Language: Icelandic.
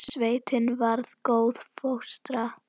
Sveitin var góð fóstra.